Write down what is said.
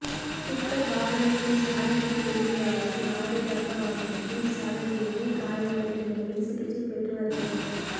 tipper வாகனத்தின் சாரதி உதவியாளரும் லொறி இரக வாகனத்தின் சாரதியுமே காயமடைந்த நிலையில் சிகிச்சை பெற்று வருகின்றனர்